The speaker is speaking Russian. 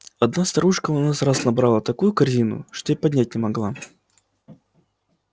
одна старушка у нас раз набрала такую корзину что и поднять не могла